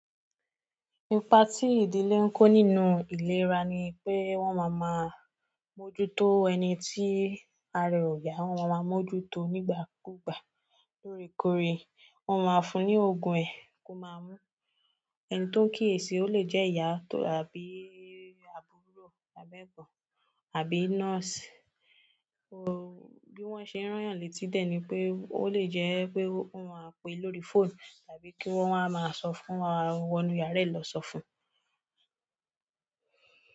Ipa tí ìdílé ń kó nínú ìlera ni pé wọ́n máa máa mójútó ẹni tí ara rẹ̀ ò yá, wọ́n máa mójútó nígbà kúgbà lórèkórè. Wọ́n máa fún ní òògùn ẹ́ ko má mú. Ẹni tó ń kíyèsi ó lè jẹ́ ìyá tò àbí àbúrò, àbí egbon àbí nọ́ọ̀sì. Bi won se ran yan leti de ni pe o le je pe won ma pe lórí fonu tàbí ki won wonu yara e lo so fún.